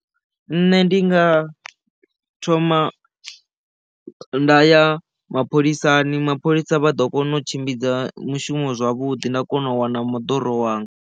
Nṋe ndi nga thoma nda ya mapholisani mapholisa vha ḓo kona u tshimbidza mushumo zwavhuḓi nda kona u wana moḓoro wanga.